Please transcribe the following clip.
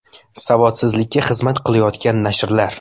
Savodsizlikka xizmat qilayotgan nashrlar .